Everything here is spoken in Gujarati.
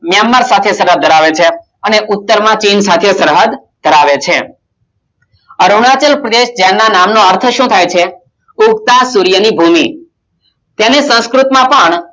મ્યાનમાર સાથે સરહદ ધરાવે છે અને ઉત્તર માં ચીન સાથે સરહદ ધરાવે છે અરુણાચલ પ્રદેશ જેમના નામનો અર્થ શું થાય છે ઉગતા સૂર્યની ભૂમિ તેને સંસ્કૃત માં પણ